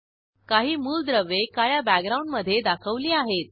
काही मूलद्रव्ये काळ्या बॅकग्राऊंडमधे दाखवली आहेत